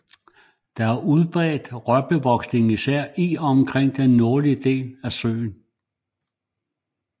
Der er udbredte rørbevoksninger især i og omkring den nordlige del af søen